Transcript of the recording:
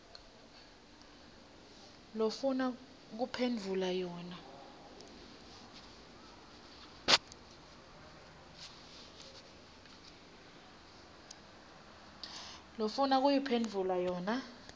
lofuna kuphendvula yona